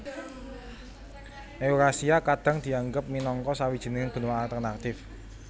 Eurasia kadhang dianggep minangka sawijining benua alternatif